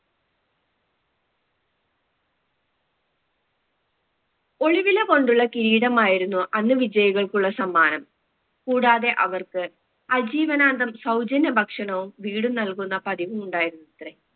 ഒരുവില കൊണ്ടുള്ള കിരീടമായിരുന്നു അന്ന് വിജയികൾക്കുള്ള സമ്മാനം കൂടാതെ അവർക്ക് അജീവനാന്ദം സൗജന്യ ഭക്ഷണവും വീടും നൽകുന്ന പതിവും ഉണ്ടായിരുന്നത്രെ